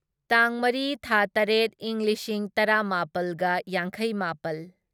ꯇꯥꯡ ꯃꯔꯤ ꯊꯥ ꯇꯔꯦꯠ ꯢꯪ ꯂꯤꯁꯤꯡ ꯇꯔꯥꯃꯥꯄꯜꯒ ꯌꯥꯡꯈꯩꯃꯥꯄꯜ